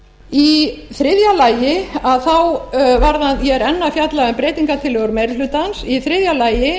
í þriðja lagi ég er enn að fjalla um breytingartillögur meiri hlutans í þriðja lagi